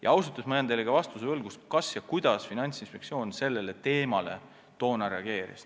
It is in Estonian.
Ja ausalt öeldes ma jään teile võlgu ka vastuse, kuidas Finantsinspektsioon sellele sammule toona reageeris.